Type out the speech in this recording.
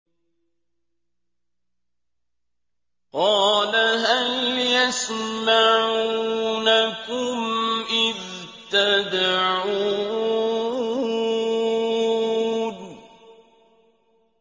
قَالَ هَلْ يَسْمَعُونَكُمْ إِذْ تَدْعُونَ